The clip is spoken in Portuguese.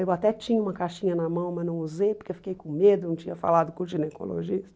Eu até tinha uma caixinha na mão, mas não usei porque eu fiquei com medo, eu não tinha falado com o ginecologista.